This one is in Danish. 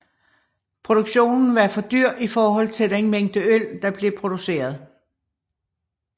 Produktionen var for dyr i forhold til den mængde øl der blev produceret